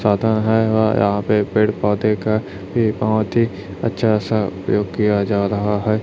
छाता है और यहां पे पेड़ पौधे का एक बहुत ही अच्छा सा प्रयोग किया जा रहा है।